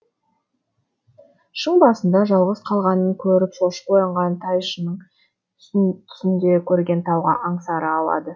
шың басында жалғыз қалғанын көріп шошып оянған тайшынның түсінде көрген тауға аңсары ауады